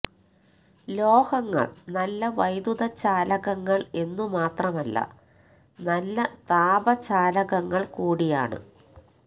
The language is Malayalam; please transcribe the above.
ലോഹങ്ങൾ നല്ല വൈദ്യുതചാലകങ്ങൾ എന്നു മാത്രമല്ല നല്ല താപ ചാലകങ്ങൾ കൂടിയാണ്